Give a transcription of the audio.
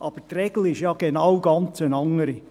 Aber die Regel ist ja genau eine ganz andere.